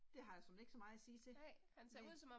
Det har jeg såmænd ikke så meget at sige til. Næ